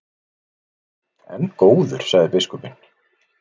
En góður, sagði biskupinn.